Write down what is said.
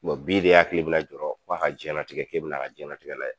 bi de e hakili bɛ na jɔrɔ ko a ka jɛnatigɛ k'e bɛ n'a ka jɛnatigɛ layɛ.